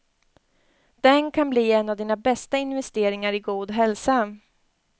Den kan bli en av dina bästa investeringar i god hälsa.